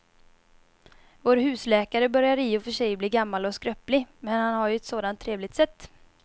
Vår husläkare börjar i och för sig bli gammal och skröplig, men han har ju ett sådant trevligt sätt!